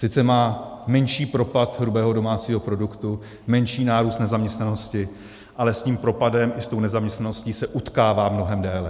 Sice má menší propad hrubého domácího produktu, menší nárůst nezaměstnanosti, ale s tím propadem i s tou nezaměstnaností se utkává mnohem déle.